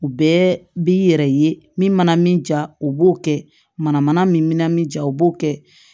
U bɛɛ b'i yɛrɛ ye min mana min ja u b'o kɛ manamana min bɛ na min ja o b'o kɛ